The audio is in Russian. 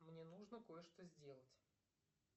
мне нужно кое что сделать